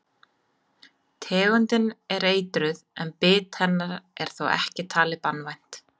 Tegundin er eitruð en bit hennar er þó ekki talið banvænt.